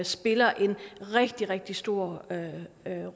spiller en rigtig rigtig stor